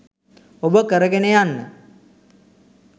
ඔබ කරගෙන යන්න